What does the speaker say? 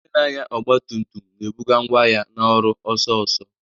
Onye na-anya ọgba tum tum na-ebuga ngwa ahịa na ọrụ ọsọ ọsọ.